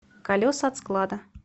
колеса от склада